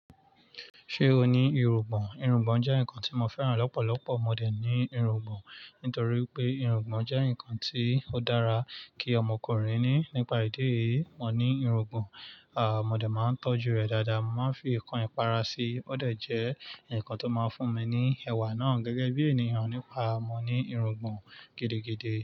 Ṣé o ní irungbọ̀n? Irungbọ̀n jẹ́ ǹkan tí mo fẹ́ràn lọ́pọ̀lọpọ̀. Mo dẹ̀ ní irungbọ̀n, nítorí pé irungbọ̀n jẹ́ ǹkan tí ó dára kí ọmọkùnrin ní. Nípa ìdí èyí, mo ní irungbọ̀n, à mo dẹ̀ máa ń tọ́jú rè dáadáa. Mo máa ń fi ǹkan ìpara sí i. O dẹ̀ jẹ́ ǹkan tó máa ń fún mi ní ẹwà náà gẹ́gẹ́ bí ènìyàn. Nípa, mo ní irungbọ̀n gidigidi.